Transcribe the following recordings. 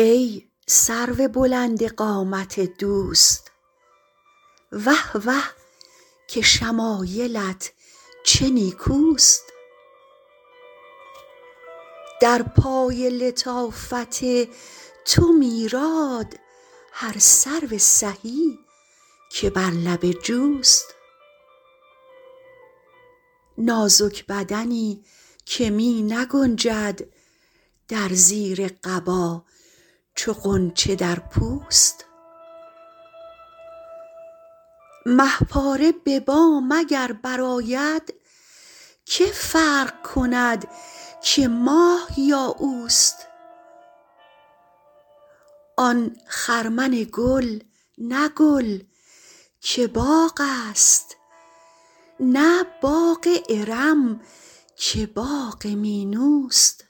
ای سرو بلند قامت دوست وه وه که شمایلت چه نیکوست در پای لطافت تو میراد هر سرو سهی که بر لب جوست نازک بدنی که می نگنجد در زیر قبا چو غنچه در پوست مه پاره به بام اگر برآید که فرق کند که ماه یا اوست آن خرمن گل نه گل که باغ است نه باغ ارم که باغ مینوست آن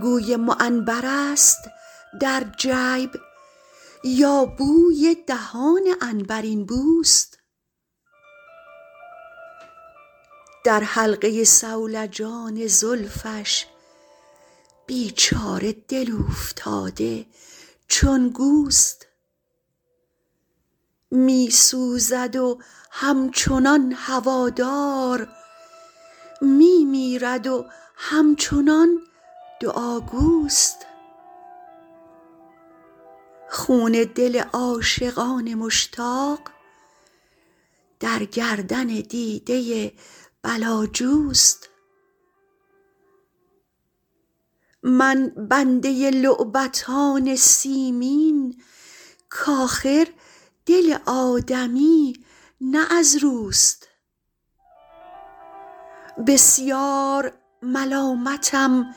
گوی معنبرست در جیب یا بوی دهان عنبرین بوست در حلقه صولجان زلفش بیچاره دل اوفتاده چون گوست می سوزد و همچنان هوادار می میرد و همچنان دعاگوست خون دل عاشقان مشتاق در گردن دیده بلاجوست من بنده لعبتان سیمین کآخر دل آدمی نه از روست بسیار ملامتم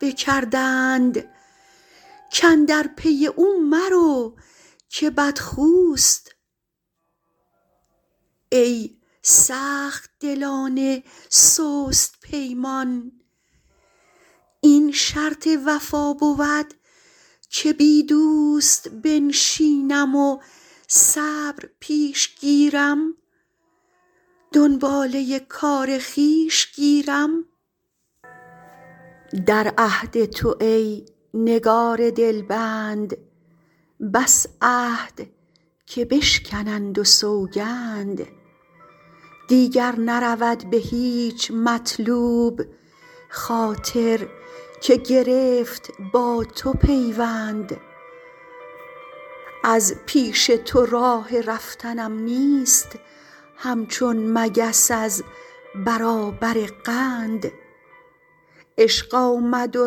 بکردند کاندر پی او مرو که بدخوست ای سخت دلان سست پیمان این شرط وفا بود که بی دوست بنشینم و صبر پیش گیرم دنباله کار خویش گیرم در عهد تو ای نگار دلبند بس عهد که بشکنند و سوگند دیگر نرود به هیچ مطلوب خاطر که گرفت با تو پیوند از پیش تو راه رفتنم نیست همچون مگس از برابر قند عشق آمد و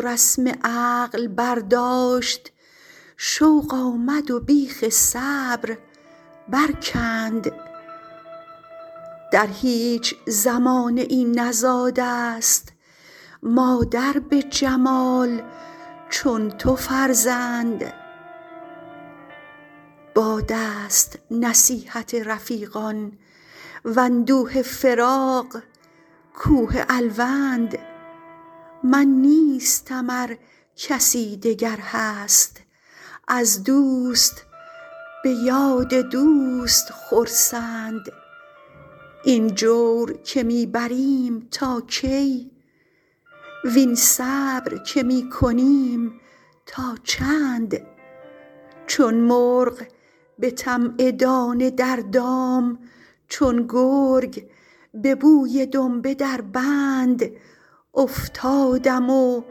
رسم عقل برداشت شوق آمد و بیخ صبر برکند در هیچ زمانه ای نزاده ست مادر به جمال چون تو فرزند باد است نصیحت رفیقان واندوه فراق کوه الوند من نیستم ار کسی دگر هست از دوست به یاد دوست خرسند این جور که می بریم تا کی وین صبر که می کنیم تا چند چون مرغ به طمع دانه در دام چون گرگ به بوی دنبه در بند افتادم و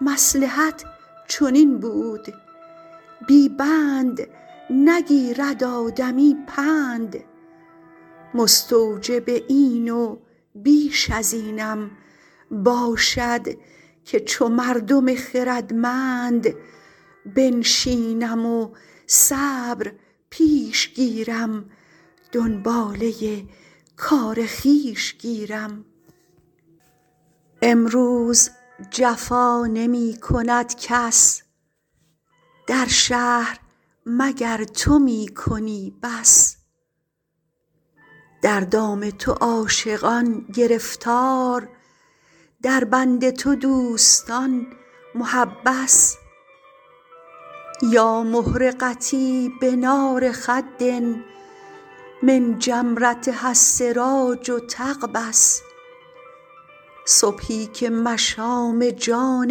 مصلحت چنین بود بی بند نگیرد آدمی پند مستوجب این و بیش از اینم باشد که چو مردم خردمند بنشینم و صبر پیش گیرم دنباله کار خویش گیرم امروز جفا نمی کند کس در شهر مگر تو می کنی بس در دام تو عاشقان گرفتار در بند تو دوستان محبس یا محرقتي بنار خد من جمرتها السراج تقبس صبحی که مشام جان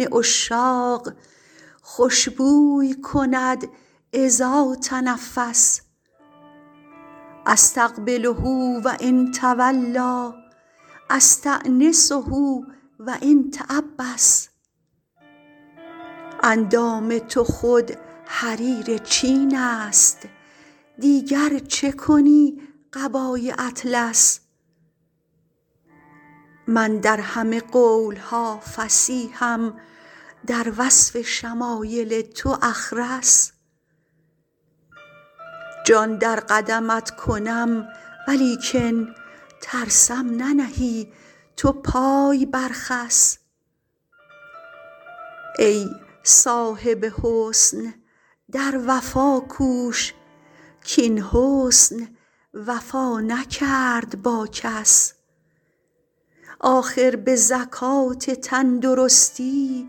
عشاق خوش بوی کند إذا تنفس أستقبله و إن تولیٰ أستأنسه و إن تعبس اندام تو خود حریر چین است دیگر چه کنی قبای اطلس من در همه قول ها فصیحم در وصف شمایل تو أخرس جان در قدمت کنم ولیکن ترسم ننهی تو پای بر خس ای صاحب حسن در وفا کوش کاین حسن وفا نکرد با کس آخر به زکات تندرستی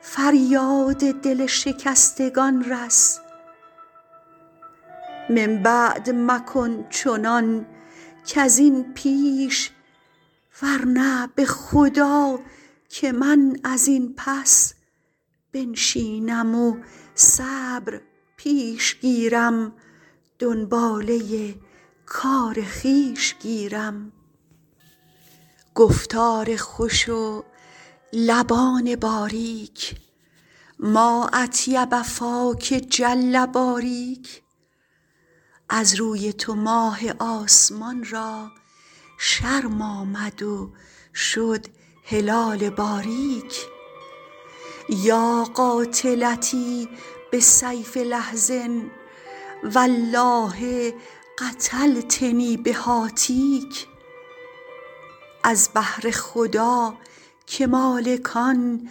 فریاد دل شکستگان رس من بعد مکن چنان کز این پیش ورنه به خدا که من از این پس بنشینم و صبر پیش گیرم دنباله کار خویش گیرم گفتار خوش و لبان باریک ما أطیب فاک جل باریک از روی تو ماه آسمان را شرم آمد و شد هلال باریک یا قاتلتی بسیف لحظ والله قتلتنی بهاتیک از بهر خدا که مالکان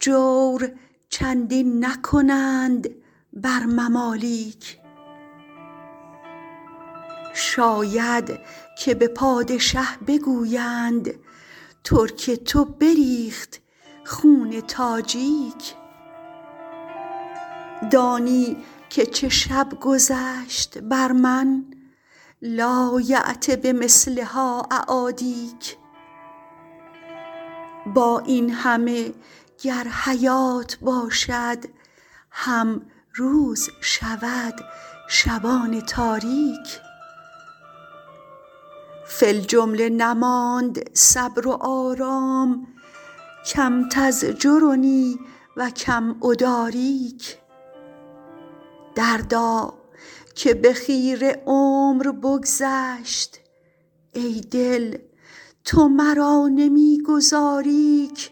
جور چندین نکنند بر ممالیک شاید که به پادشه بگویند ترک تو بریخت خون تاجیک دانی که چه شب گذشت بر من لایأت بمثلها أعادیک با این همه گر حیات باشد هم روز شود شبان تاریک فی الجمله نماند صبر و آرام کم تزجرنی و کم أداریک دردا که به خیره عمر بگذشت ای دل تو مرا نمی گذاری ک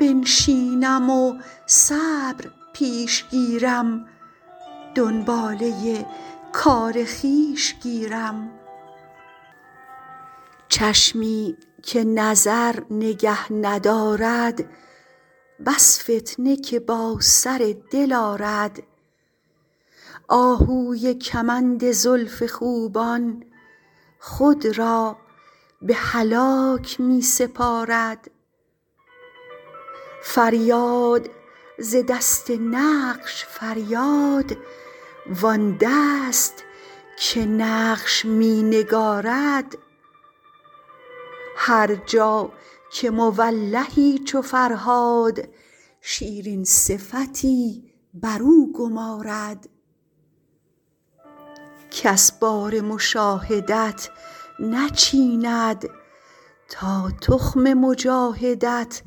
بنشینم و صبر پیش گیرم دنباله کار خویش گیرم چشمی که نظر نگه ندارد بس فتنه که با سر دل آرد آهوی کمند زلف خوبان خود را به هلاک می سپارد فریاد ز دست نقش فریاد وآن دست که نقش می نگارد هر جا که مولهی چو فرهاد شیرین صفتی برو گمارد کس بار مشاهدت نچیند تا تخم مجاهدت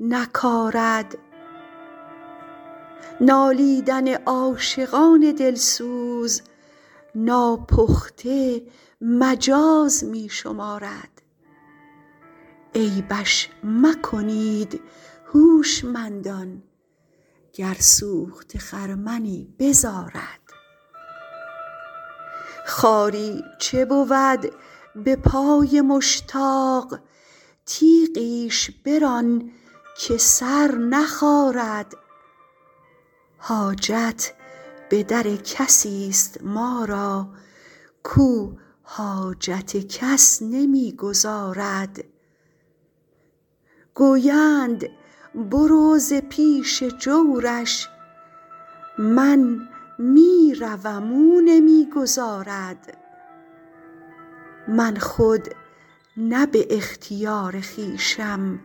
نکارد نالیدن عاشقان دل سوز ناپخته مجاز می شمارد عیبش مکنید هوشمندان گر سوخته خرمنی بزارد خاری چه بود به پای مشتاق تیغیش بران که سر نخارد حاجت به در کسی ست ما را کاو حاجت کس نمی گزارد گویند برو ز پیش جورش من می روم او نمی گذارد من خود نه به اختیار خویشم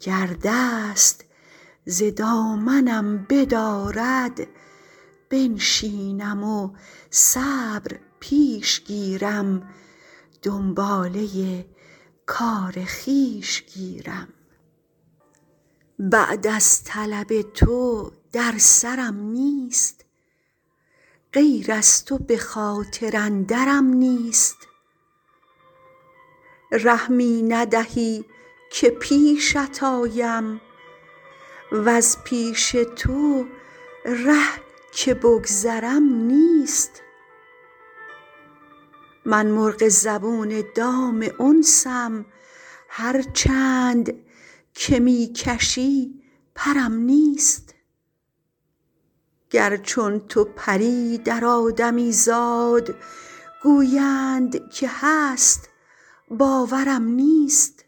گر دست ز دامنم بدارد بنشینم و صبر پیش گیرم دنباله کار خویش گیرم بعد از طلب تو در سرم نیست غیر از تو به خاطر اندرم نیست ره می ندهی که پیشت آیم وز پیش تو ره که بگذرم نیست من مرغ زبون دام انسم هر چند که می کشی پرم نیست گر چون تو پری در آدمیزاد گویند که هست باورم نیست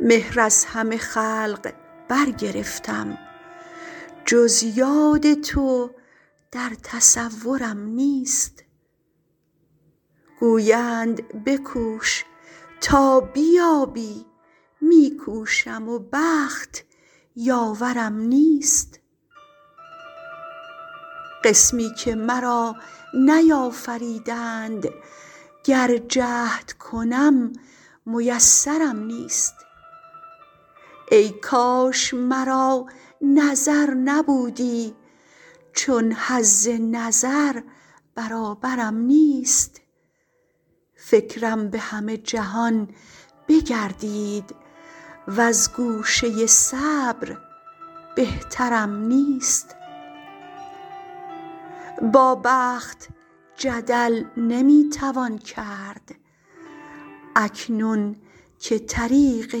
مهر از همه خلق برگرفتم جز یاد تو در تصورم نیست گویند بکوش تا بیابی می کوشم و بخت یاورم نیست قسمی که مرا نیافریدند گر جهد کنم میسرم نیست ای کاش مرا نظر نبودی چون حظ نظر برابرم نیست فکرم به همه جهان بگردید وز گوشه صبر بهترم نیست با بخت جدل نمی توان کرد اکنون که طریق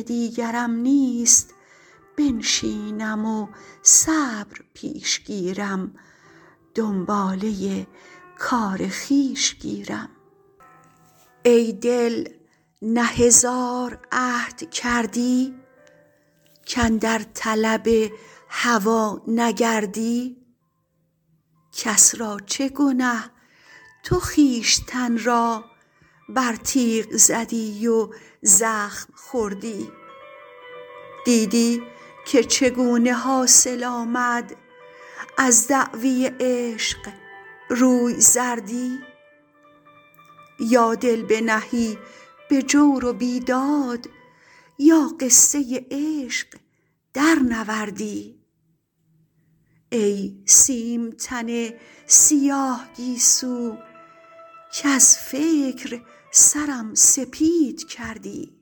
دیگرم نیست بنشینم و صبر پیش گیرم دنباله کار خویش گیرم ای دل نه هزار عهد کردی کاندر طلب هوا نگردی کس را چه گنه تو خویشتن را بر تیغ زدی و زخم خوردی دیدی که چگونه حاصل آمد از دعوی عشق روی زردی یا دل بنهی به جور و بیداد یا قصه عشق درنوردی ای سیم تن سیاه گیسو کز فکر سرم سپید کردی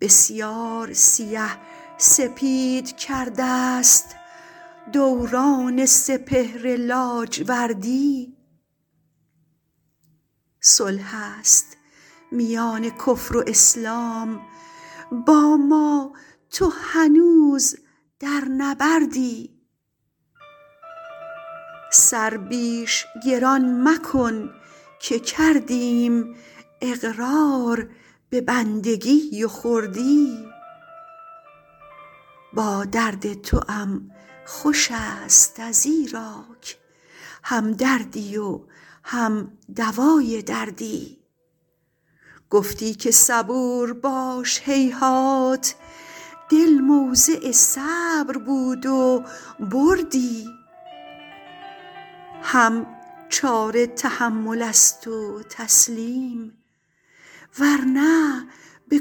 بسیار سیه سپید کرده ست دوران سپهر لاجوردی صلح است میان کفر و اسلام با ما تو هنوز در نبردی سر بیش گران مکن که کردیم اقرار به بندگی و خردی با درد توام خوش ست ازیراک هم دردی و هم دوای دردی گفتی که صبور باش هیهات دل موضع صبر بود و بردی هم چاره تحمل است و تسلیم ورنه به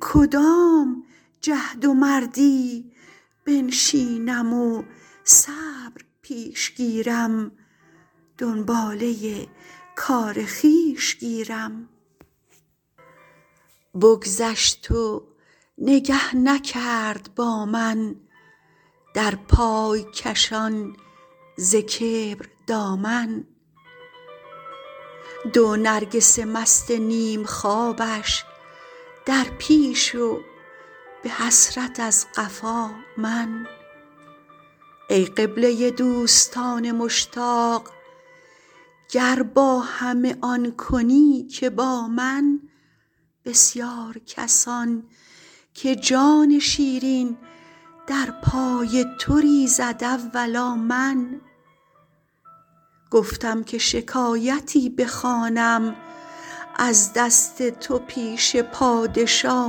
کدام جهد و مردی بنشینم و صبر پیش گیرم دنباله کار خویش گیرم بگذشت و نگه نکرد با من در پای کشان ز کبر دامن دو نرگس مست نیم خوابش در پیش و به حسرت از قفا من ای قبله دوستان مشتاق گر با همه آن کنی که با من بسیار کسان که جان شیرین در پای تو ریزد اولا من گفتم که شکایتی بخوانم از دست تو پیش پادشا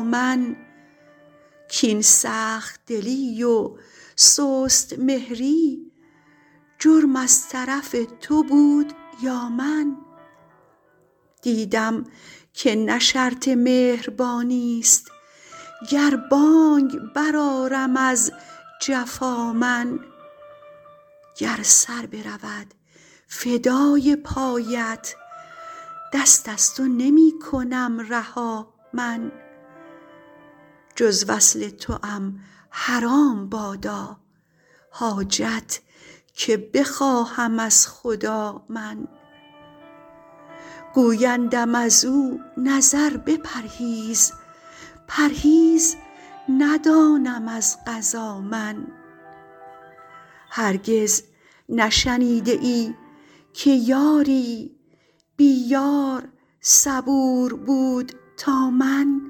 من کاین سخت دلی و سست مهری جرم از طرف تو بود یا من دیدم که نه شرط مهربانی ست گر بانگ برآرم از جفا من گر سر برود فدای پایت دست از تو نمی کنم رها من جز وصل توام حرام بادا حاجت که بخواهم از خدا من گویندم ازو نظر بپرهیز پرهیز ندانم از قضا من هرگز نشنیده ای که یاری بی یار صبور بود تا من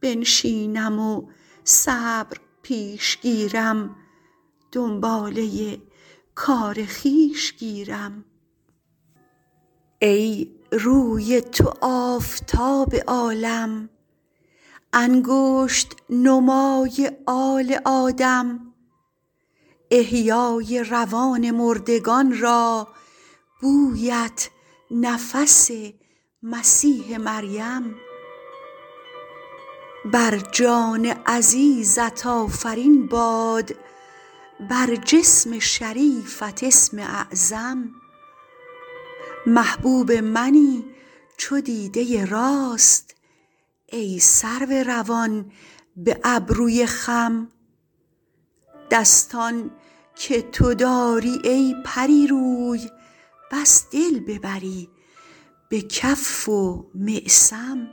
بنشینم و صبر پیش گیرم دنباله کار خویش گیرم ای روی تو آفتاب عالم انگشت نمای آل آدم احیای روان مردگان را بویت نفس مسیح مریم بر جان عزیزت آفرین باد بر جسم شریفت اسم اعظم محبوب منی چو دیده راست ای سرو روان به ابروی خم دستان که تو داری ای پری روی بس دل ببری به کف و معصم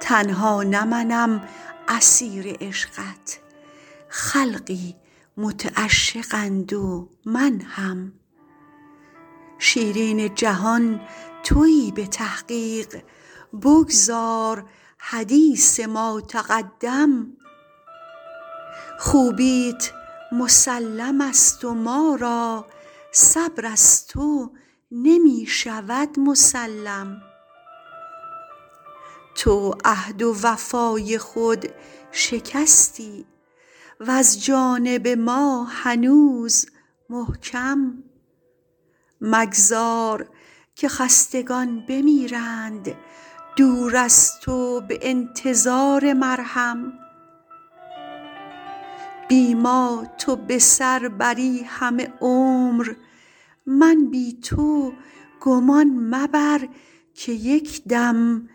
تنها نه منم اسیر عشقت خلقی متعشقند و من هم شیرین جهان تویی به تحقیق بگذار حدیث ما تقدم خوبیت مسلم ست و ما را صبر از تو نمی شود مسلم تو عهد وفای خود شکستی وز جانب ما هنوز محکم مگذار که خستگان بمیرند دور از تو به انتظار مرهم بی ما تو به سر بری همه عمر من بی تو گمان مبر که یک دم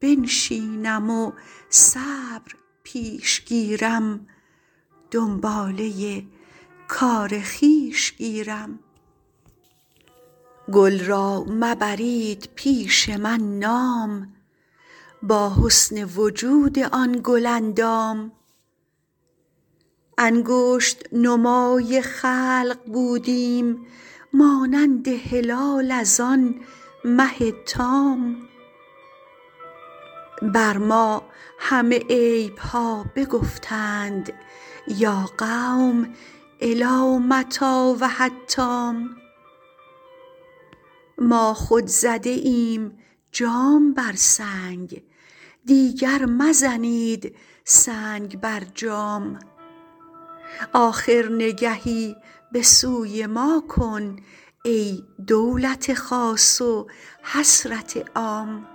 بنشینم و صبر پیش گیرم دنباله کار خویش گیرم گل را مبرید پیش من نام با حسن وجود آن گل اندام انگشت نمای خلق بودیم مانند هلال از آن مه تام بر ما همه عیب ها بگفتند یا قوم إلی متیٰ و حتام ما خود زده ایم جام بر سنگ دیگر مزنید سنگ بر جام آخر نگهی به سوی ما کن ای دولت خاص و حسرت عام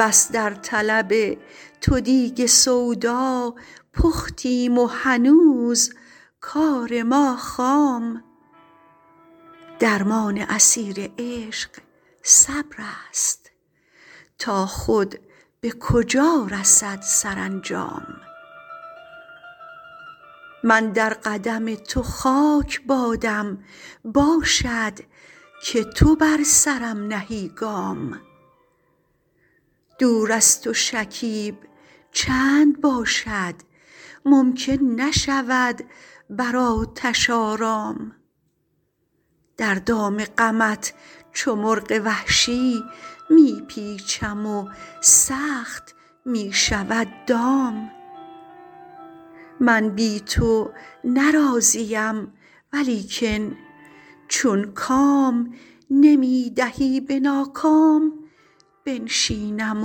بس در طلب تو دیگ سودا پختیم و هنوز کار ما خام درمان اسیر عشق صبرست تا خود به کجا رسد سرانجام من در قدم تو خاک بادم باشد که تو بر سرم نهی گام دور از تو شکیب چند باشد ممکن نشود بر آتش آرام در دام غمت چو مرغ وحشی می پیچم و سخت می شود دام من بی تو نه راضیم ولیکن چون کام نمی دهی به ناکام بنشینم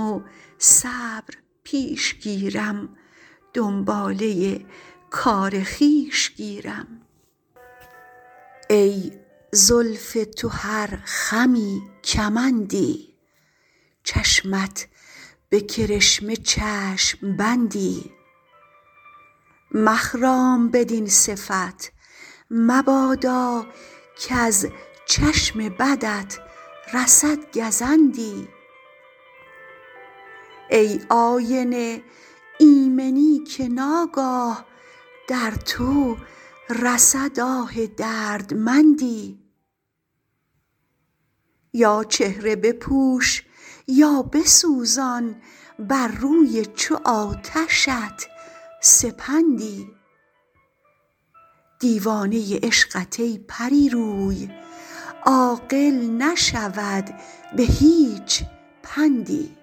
و صبر پیش گیرم دنباله کار خویش گیرم ای زلف تو هر خمی کمندی چشمت به کرشمه چشم بندی مخرام بدین صفت مبادا کز چشم بدت رسد گزندی ای آینه ایمنی که ناگاه در تو رسد آه دردمندی یا چهره بپوش یا بسوزان بر روی چو آتشت سپندی دیوانه عشقت ای پری روی عاقل نشود به هیچ پندی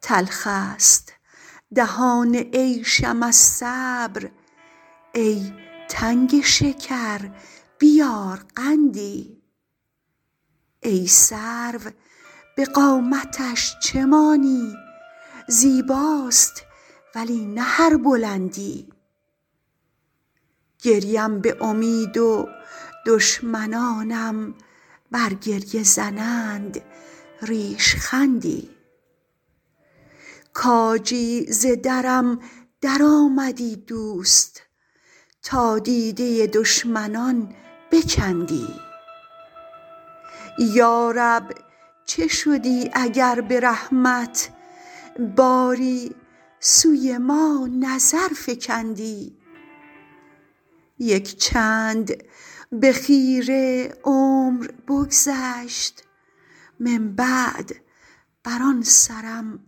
تلخ ست دهان عیشم از صبر ای تنگ شکر بیار قندی ای سرو به قامتش چه مانی زیباست ولی نه هر بلندی گریم به امید و دشمنانم بر گریه زنند ریشخندی کاجی ز درم درآمدی دوست تا دیده دشمنان بکندی یا رب چه شدی اگر به رحمت باری سوی ما نظر فکندی یک چند به خیره عمر بگذشت من بعد بر آن سرم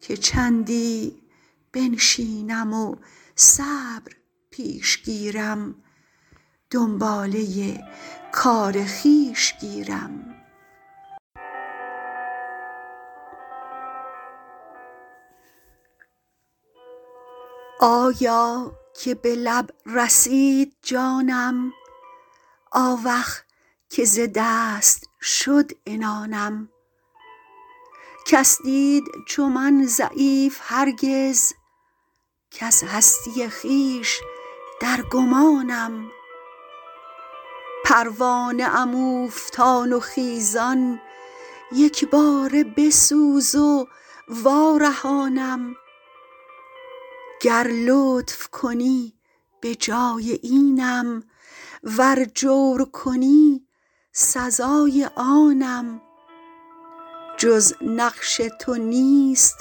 که چندی بنشینم و صبر پیش گیرم دنباله کار خویش گیرم آیا که به لب رسید جانم آوخ که ز دست شد عنانم کس دید چو من ضعیف هرگز کز هستی خویش در گمانم پروانه ام اوفتان و خیزان یک باره بسوز و وارهانم گر لطف کنی به جای اینم ور جور کنی سزای آنم جز نقش تو نیست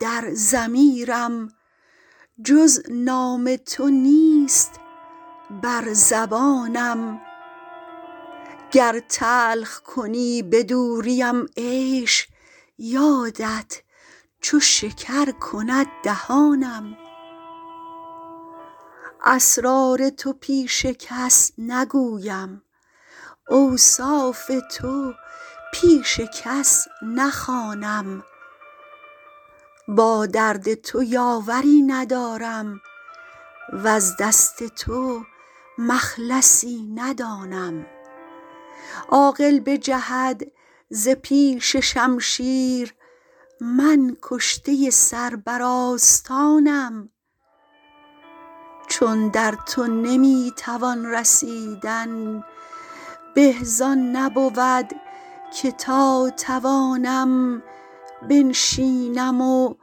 در ضمیرم جز نام تو نیست بر زبانم گر تلخ کنی به دوریم عیش یادت چو شکر کند دهانم اسرار تو پیش کس نگویم اوصاف تو پیش کس نخوانم با درد تو یاوری ندارم وز دست تو مخلصی ندانم عاقل بجهد ز پیش شمشیر من کشته سر بر آستانم چون در تو نمی توان رسیدن به زآن نبود که تا توانم بنشینم و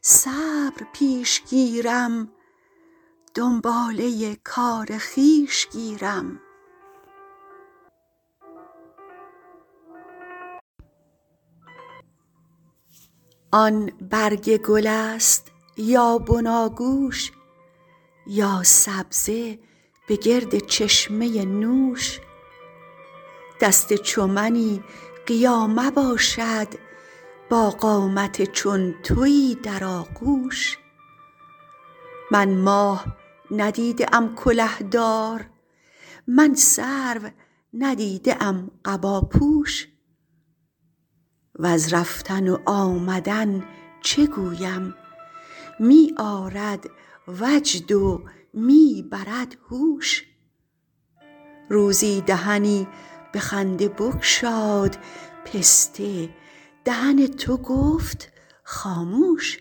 صبر پیش گیرم دنباله کار خویش گیرم آن برگ گل ست یا بناگوش یا سبزه به گرد چشمه نوش دست چو منی قیامه باشد با قامت چون تویی در آغوش من ماه ندیده ام کله دار من سرو ندیده ام قباپوش وز رفتن و آمدن چه گویم می آرد وجد و می برد هوش روزی دهنی به خنده بگشاد پسته دهن تو گفت خاموش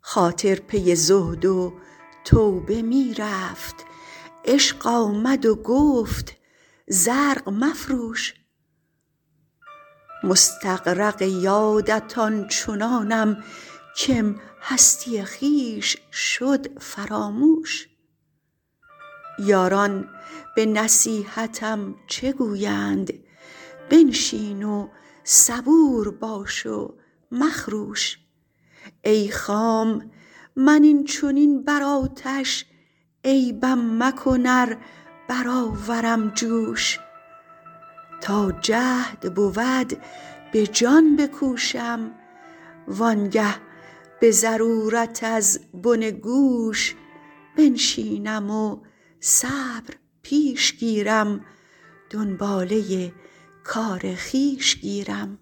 خاطر پی زهد و توبه می رفت عشق آمد و گفت زرق مفروش مستغرق یادت آن چنانم کم هستی خویش شد فراموش یاران به نصیحتم چه گویند بنشین و صبور باش و مخروش ای خام من این چنین بر آتش عیبم مکن ار برآورم جوش تا جهد بود به جان بکوشم وآن گه به ضرورت از بن گوش بنشینم و صبر پیش گیرم دنباله کار خویش گیرم